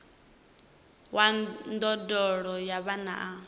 wa ndondolo ya vhana a